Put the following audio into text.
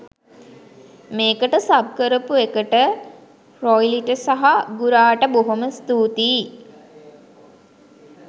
මේකට සබ් කරපු එකට රොයිලිට සහ ගුරාට බොහොම ස්තුතියි.